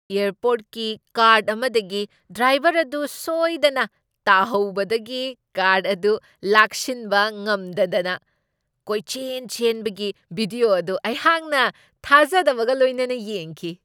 ꯑꯦꯌꯔꯄꯣꯔ꯭ꯠꯀꯤ cart ꯑꯃꯗꯒꯤ driver ꯑꯗꯨ ꯁꯣꯏꯗꯅ ꯇꯥꯍꯧꯕꯗꯒꯤ ꯀꯥꯔ꯭ꯠ ꯑꯗꯨ ꯂꯥꯛꯁꯤꯟꯕ ꯉꯝꯗꯗꯅ ꯀꯣꯏꯆꯦꯟ ꯆꯦꯟꯕꯒꯤ ꯚꯤꯗ꯭ꯌꯣ ꯑꯗꯨ ꯑꯩꯍꯥꯛꯅ ꯊꯥꯖꯗꯕꯒ ꯂꯣꯏꯅꯅ ꯌꯦꯡꯈꯤ꯫